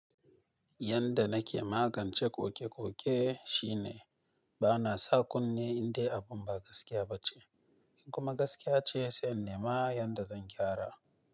Yanda nake magance koke-koke shine bana sa kunne indai abun ba gaskiya ba ce. In kuma gaskiya ce, sai in nema yanda zan gyara.